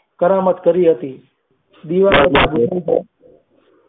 કરણ મત કરી હતી.